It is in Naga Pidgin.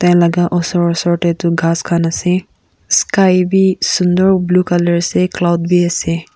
Enaka osor osor teh toh kas kan ase sky beh sundor blue colour ase aro colud beh ase.